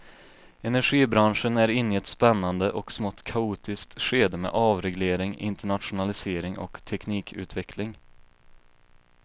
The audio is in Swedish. Energibranschen är inne i ett spännande och smått kaotiskt skede med avreglering, internationalisering och teknikutveckling.